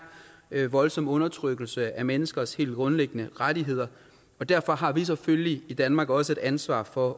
voldsom undertrykkelse af menneskers helt grundlæggende rettigheder og derfor har vi selvfølgelig i danmark også et ansvar for